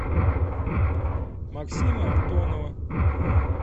максима антонова